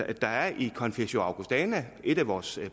at der i confessio augustana et af vores